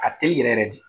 A ka teli yɛrɛ de